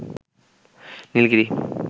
Nilgiri